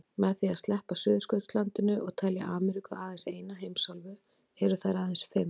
Með því að sleppa Suðurskautslandinu og telja Ameríku aðeins eina heimsálfu eru þær aðeins fimm.